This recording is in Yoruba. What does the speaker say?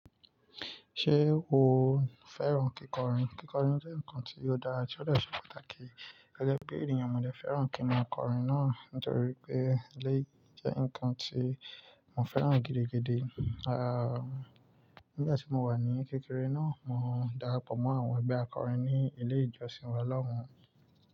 Ṣé o fẹ́ràn kíkọrin? Kíkọrin jẹ́ nǹkan tí ó dára tí ó dẹ ṣe pàtàkì. Gẹ́gẹ́ bí ènìyàn, mo dẹ fẹ́ràn kí n ma kọrin náà, nítorí pé eléyìí jẹ́ ǹkan tí mo fẹ́ràn gidi gidi. A, nígbà tí mo wà ní kékeré náà, mo darapọ̀ mọ́ àwọn ẹgbẹ́ akọrin ní ilé ìjọsìn Ọlọ́run.